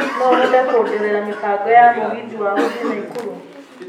no ũhote kũndorera mĩbango ya Mũgithi wa gũthiĩ naikuru